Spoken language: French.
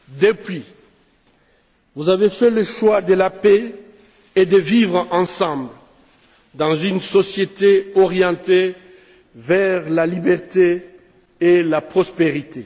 Depuis, vous avez fait le choix de la paix et de vivre ensemble dans une société orientée vers la liberté et la prospérité.